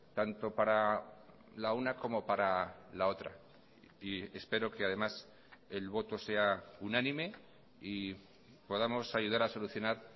tanto para la una como para la otra y espero que además el voto sea unánime y podamos ayudar a solucionar